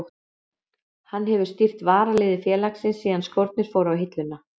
Hann hefur stýrt varaliði félagsins síðan skórnir fóru á hilluna.